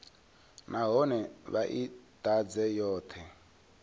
nahone vha i ḓadze yoṱhe